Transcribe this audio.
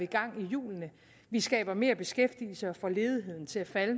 gang i hjulene vi skaber mere beskæftigelse og får ledigheden til at falde